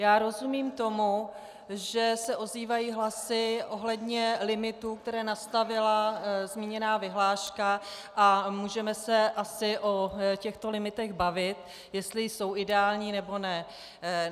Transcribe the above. Já rozumím tomu, že se ozývají hlasy ohledně limitů, které nastavila zmíněná vyhláška, a můžeme se asi o těchto limitech bavit, jestli jsou ideální, nebo ne.